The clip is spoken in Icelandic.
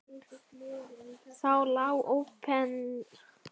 Það lá óprentað og flestum hulið í handritasafni Árna.